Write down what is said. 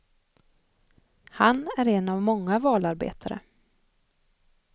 Han är en av många valarbetare.